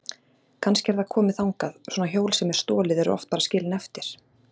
Kannski er það komið þangað, svona hjól sem er stolið eru oft bara skilin eftir.